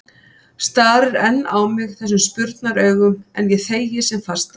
Starir enn á mig þessum spurnaraugum, en ég þegi sem fastast.